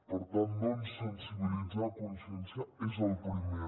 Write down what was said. per tant doncs sensibilitzar conscienciar és el primer